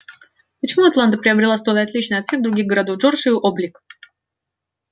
почему атланта приобретала столь отличный от всех других городов джорджии облик